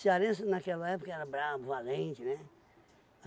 naquela época era bravo, valente, né?